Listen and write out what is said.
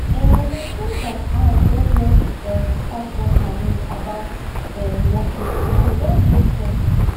um my friends and i don just um start one challenge about um walking and e don dey fun